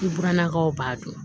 I burannakaw b'a dun